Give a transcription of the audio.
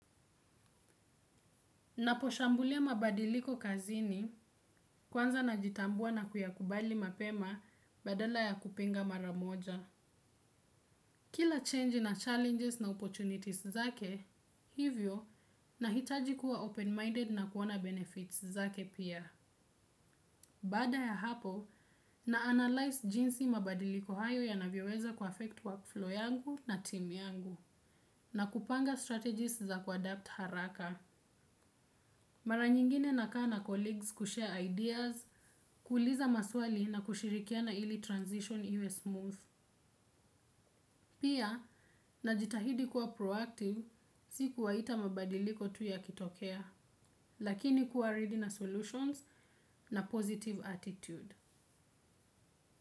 Naposhambulia mabadiliko kazini kwanza najitambua na kuyakubali mapema badala ya kupinga mara moja. Kila change na challenges na opportunities zake hivyo nahitaji kuwa open-minded na kuona benefits zake pia. Baada ya hapo na analyze jinsi mabadiliko hayo yanavyoweza kuaffect workflow yangu na team yangu na kupanga strategies za kuadapt haraka. Mara nyingine nakaa na colleagues kushare ideas, kuuliza maswali na kushirikiana ili transition iwe smooth. Pia, najitahidi kuwa proactive, si kuwaita mabadiliko tu yakitokea, lakini kuwa ready na solutions na positive attitude.